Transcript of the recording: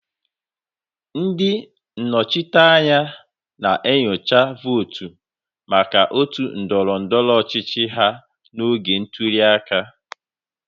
Ndị nnọchiteanya na-enyocha votu maka otu ndọrọ ndọrọ ọchịchị ha n'oge ntuli aka.